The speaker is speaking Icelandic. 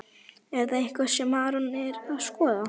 Er það eitthvað sem Aron er að skoða?